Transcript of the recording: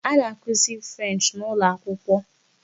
A na-akụzi 'French' n'ụlọakwụkwọ.